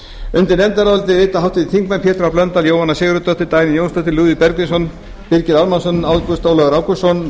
undir nefndarálitið rita háttvirtir þingmenn pétur h blöndal jóhanna sigurðardóttir dagný jónsdóttir lúðvík bergvinsson birgir ármannsson ágúst ólafur ágústsson